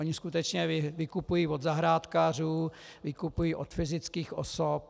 Oni skutečně vykupují od zahrádkářů, vykupují od fyzických osob.